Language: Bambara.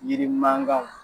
Yiri man kanw.